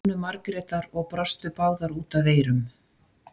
Jónu Margrétar og brostu báðar út að eyrum.